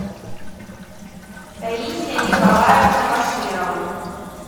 таисия николаевна баширова